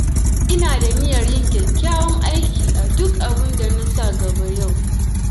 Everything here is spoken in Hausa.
Ina da niyyar yin kyakkyawan aiki a duk abinda na sa gaba yau.